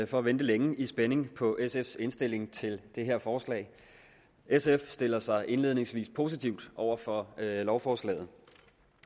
for at vente længe i spænding på sfs indstilling til det her forslag sf stiller sig indledningsvis positivt over for lovforslaget